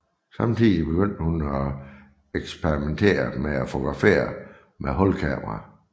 Samtidig begyndte hun at eksperimentere med at fotografere med hulkamera